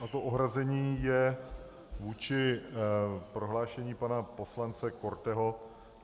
A to ohrazení je vůči prohlášení pana poslance Korteho.